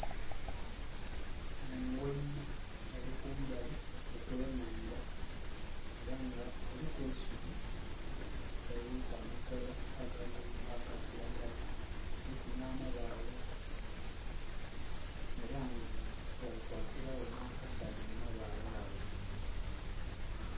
Engoinha elikumbali okwenhandha, ela nga kiriku eisubi eririku amakoola aga kilagala, kuliku nhamabaale era nga ghali kwakiragho nha kasanha mu mabaale agho.